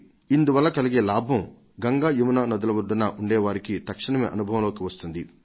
ఇందువల్ల కలిగే లాభం గంగ యమున నదుల ఒడ్డున ఉండే వారికి తక్షణమే అనుభవంలోకి వస్తుంది